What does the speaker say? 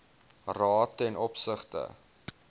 raad ten opsigte